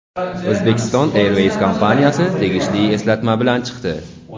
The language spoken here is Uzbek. "Uzbekistan Airways" kompaniyasi tegishli eslatma bilan chiqdi.